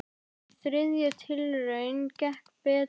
Í þriðju tilraun gekk betur.